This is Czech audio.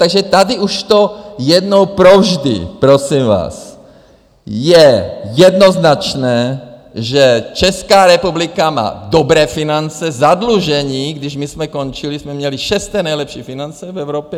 Takže tady už to jednou provždy, prosím vás, je jednoznačné, že Česká republika má dobré finance, zadlužení, když my jsme končili, jsme měli šesté nejlepší finance v Evropě.